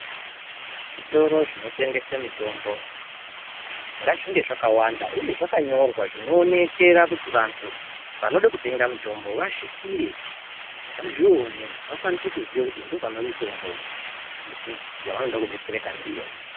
Zvitoro zvinotengesa mitombo ngazvinge zvakawanda, uye zvakanyorwa zvinowonekera kuti vantu vanode kutenga mitombo vasvikire vazvione vakwanise kuziva kuti ndipo panemitombo yavanoda kubetsereka ndiyo.